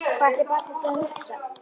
Hvað ætli barnið sé að hugsa?